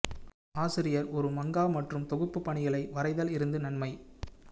ஆசிரியர் ஒரு மங்கா மற்றும் தொகுப்பு பணிகளை வரைதல் இருந்து நன்மை